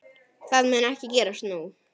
Það mun ekki gerast nú.